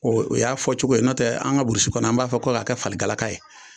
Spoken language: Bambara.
O y'a fɔcogo ye n'o tɛ an burusi kɔnɔ an b'a fɔ ko k'a kɛ faligalaka ye